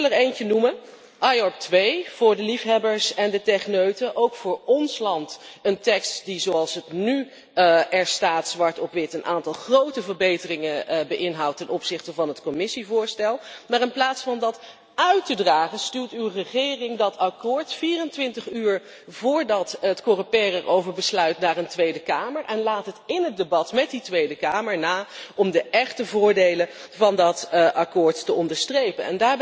Ik wil er één noemen IORP 2 voor de liefhebbers en de techneuten, ook voor ons land een tekst die, zoals het er nu zwart op wit staat, een aantal grote verbeteringen inhoudt ten opzichte van het Commissievoorstel. Maar in plaats van dat uit te dragen, stuwt uw regering dat akkoord 24 uur voordat het Coreper erover besluit naar een Tweede Kamer en laat het in het debat met die Tweede Kamer na om de echte voordelen van dat akkoord te onderstrepen.